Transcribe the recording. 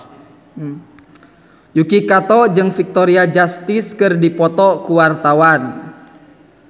Yuki Kato jeung Victoria Justice keur dipoto ku wartawan